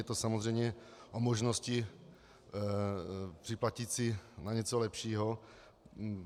Je to samozřejmě o možnosti připlatit si na něco lepšího.